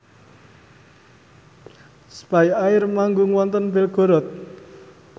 spyair manggung wonten Belgorod